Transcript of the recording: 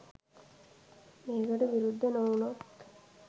මේකට විරුද්ධ නොවුනොත්